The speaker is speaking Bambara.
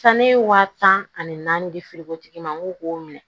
Sanni waa tan ani naani de feere ko tigi ma ŋo k'o minɛ